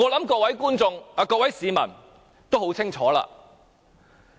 我想各位市民都很清楚。